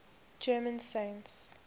german saints